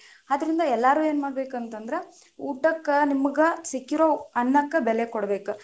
ಆದ್ರಿಂದ ಎಲ್ಲಾರು ಏನ ಮಾಡಬೇಕಂತಂದ್ರ, ಊಟಕ್ಕ ನಿಮ್ಗ ಸಿಕ್ಕಿರೊ ಅನ್ನಕ್ಕ ಬೆಲೆ ಕೊಡ್ಬೇಕ.